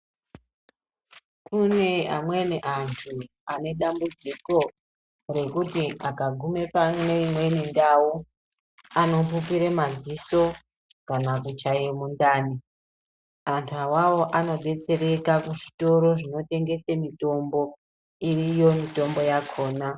Kune amweni antu ane dambudziko rekuti akagume pane imweni ndau anopupire madziso kana kuchaye mundani. Antu awawo anodetsereka kuzvitoro zvinotengese mitombo iriyo mitombo yakona.